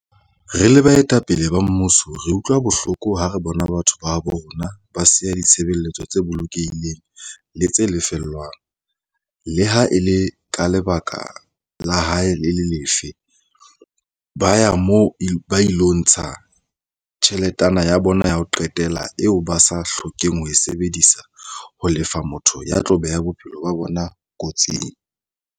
"Re le baetapele ba mmuso re utlwa bohloko ha re bona batho ba habo rona ba siya ditshebeletso tse bolokehileng le tse sa lefellweng, le ha e le ka lebaka le ha e le lefe, ba ya moo ba ilo ntsha tjheletana ya bona ya ho qetela eo ba sa hlokeng ho e sebedisetsa ho lefa motho ya tla beha bophelo ba bona kotsing."